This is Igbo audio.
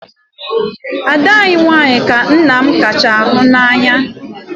Ada anyị nwanyị ka nna m kacha hụ n'anya.